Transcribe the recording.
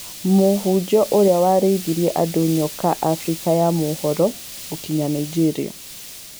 Mũhunjia ũrĩa warĩithirie andũ nyoka Afrika ya mũhuro, gũkinya Naijĩria.